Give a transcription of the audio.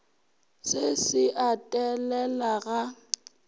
se se a telela ga